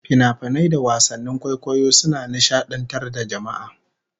Finafinai da wasannin kwaikwayo suna nishadantar da jama'a